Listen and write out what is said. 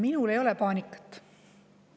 Minul ei ole paanikat.